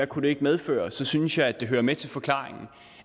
kunne medføre så synes jeg det hører med til forklaringen